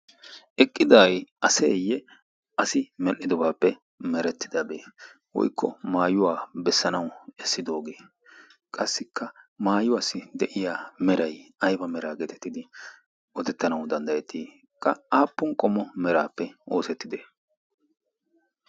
eqqiday aseeyye asi medhdhidobaappe merettidabee woykko maayuwaa bessanawu essidoogee qassikka maayuwaassi de'iya merai ayba meraa geetettidi odettanawu danddayettii qa aappun qomo meraappe oosettide